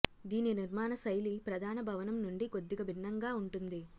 దీని నిర్మాణ శైలి ప్రధాన భవనం నుండి కొద్దిగా భిన్నంగా ఉంటుంది